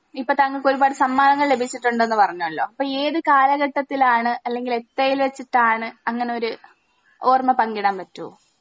ഇപ്പൊ താങ്കൾക്ക് ഒരുപാട് സമ്മാനങ്ങൾ ലഭിച്ചിട്ടുണ്ടെന്ന് പറഞ്ഞലോ അപ്പൊ ഏത് കാലഘട്ടത്തിലാണ് അല്ലെങ്കിൽ എത്തേൽ വെച്ചിട്ടാണ് അങ്ങനൊരു ഓർമ പങ്കിടാൻ പറ്റോ?